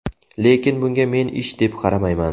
Lekin bunga men ish deb qaramayman.